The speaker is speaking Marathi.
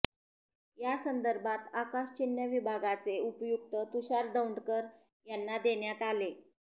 यासंदर्भात आकाशचिन्ह विभागाचे उपयुक्त तुषार दौंडकर याना देण्यात आले